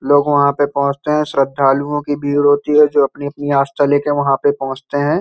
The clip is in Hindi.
लोग वहाँ पे पहुंचते है। श्रद्धालुओं की भीड़ होती है जो अपनी- अपनी आस्था ले के वहाँ पे पहुंचते हैं।